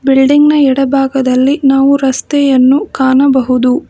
Building ನ ಎಡ ಭಾಗದಲ್ಲಿ ನಾವು ರಸ್ತೆಯನ್ನು ನಾವು ಕಾಣಬಹುದು.